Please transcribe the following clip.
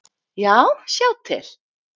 Já, sjá til!